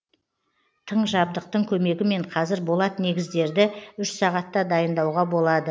тың жабдықтың көмегімен қазір болат негіздерді үш сағатта дайындауға болады